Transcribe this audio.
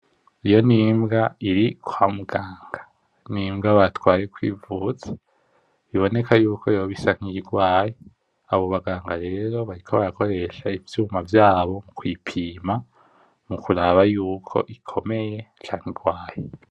Iyo n’imbwa iri kwa muganga, n’imbwa batwaye kwivuza biboneka yuko yoba isa nk’iyirwaye. Abo baganga rero bariko bakoresha ivyuma vyabo mu kuyipima mukuraba yuko ikomeye canke irwaye.